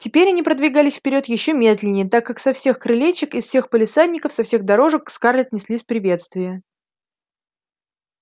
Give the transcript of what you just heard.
теперь они продвигались вперёд ещё медленнее так как со всех крылечек из всех палисадников со всех дорожек к скарлетт неслись приветствия